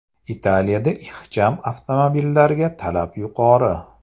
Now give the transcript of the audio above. Italiyada ixcham avtomobillarga talab yuqori.